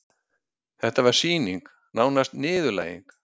Þetta var sýning, nánast niðurlæging.